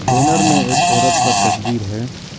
Banner में एक औरत का तस्वीर है।